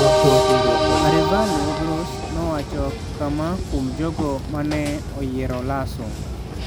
Arévalo Gross nowacho kama kuom jogo ma ne oyiero Lasso: